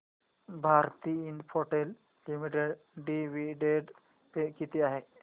Bharti Infratel limited dividend pay किती आहे